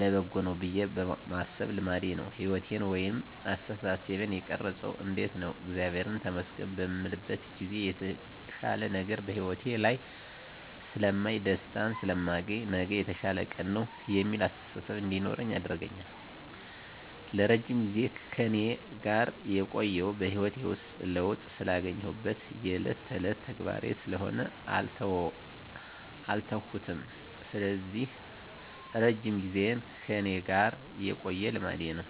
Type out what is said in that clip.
ለበጎ ነው ብየ ማሰብ ልማዴ ነው። ህይወቴን ወይንም አስተሳሰቤን የቀረፀው እንዴት ነው እግዚአብሔርን ተመስገን በምልበት ጊዜ የተሻለ ነገር በህይወቴ ላይ ስለማይ፣ ደስታን ስለማገኝ፣ ነገ የተሻለ ቀን ነው የሚል አስተሳሰብ እንዲኖረኝ ያደርጋል። ለረጅም ጊዜ ከእኔ ጋር የቆየው በህይወቴ ውስጥ ለውጥ ስላገኘሁበት የእለት ተእለት ተግባሬ ስለሆነ አልተውኩትም ስለዚህ እረጅም ጊዜን ከእኔ ጋር የቆየ ልማዴ ነው።